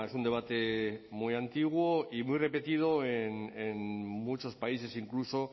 un debate muy antiguo y muy repetido en muchos países incluso